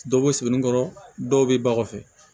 Dɔ bɛ sɛbɛin kɔrɔ dɔw bɛ ba kɔfɛ